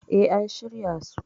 E, an shirya su.